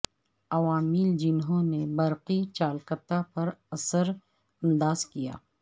عوامل جنہوں نے برقی چالکتا پر اثر انداز کیا